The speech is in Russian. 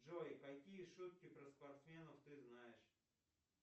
джой какие шутки про спортсменов ты знаешь